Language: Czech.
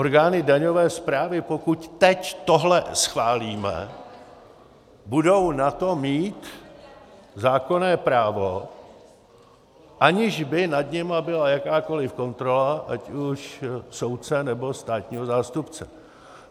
Orgány daňové správy, pokud teď tohle schválíme, budou na to mít zákonné právo, aniž by nad nimi byla jakákoliv kontrola ať už soudce, nebo státního zástupce.